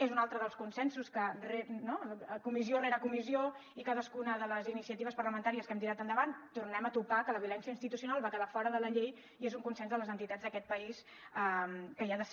és un altre dels consensos que comissió rere comissió i en cadascuna de les iniciatives parlamentàries que hem tirat endavant hi tornem a topar que la violència institucional va quedar fora de la llei i és un consens de les entitats d’aquest país que hi ha de ser